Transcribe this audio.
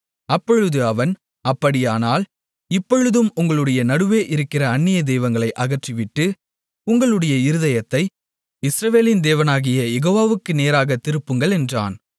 அப்பொழுது அவன் அப்படியானால் இப்பொழுதும் உங்களுடைய நடுவே இருக்கிற அந்நிய தெய்வங்களை அகற்றிவிட்டு உங்களுடைய இருதயத்தை இஸ்ரவேலின் தேவனாகிய யெகோவாவுக்கு நேராகத் திருப்புங்கள் என்றான்